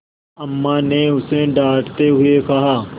अम्मा ने उसे डाँटते हुए कहा